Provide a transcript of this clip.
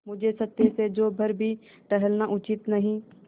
मुझे सत्य से जौ भर भी टलना उचित नहीं